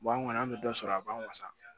an kɔni an bɛ dɔ sɔrɔ a b'an wasa